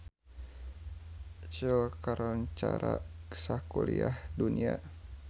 Seoul kakoncara sakuliah dunya